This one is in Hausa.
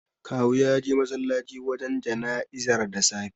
Kawu ya je masallaci wajen jana'izar da safe.